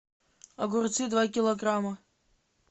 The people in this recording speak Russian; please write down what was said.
огурцы два килограмма